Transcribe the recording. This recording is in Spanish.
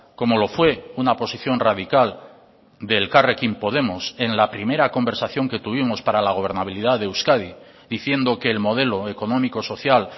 como lo fue una posición radical de elkarrekin podemos en la primera conversación que tuvimos para la gobernabilidad de euskadi diciendo que el modelo económico social